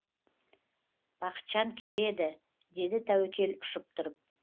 бақытжан келеді деді тәуекел ұшып тұрып